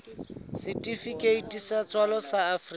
setifikeiti sa tswalo sa afrika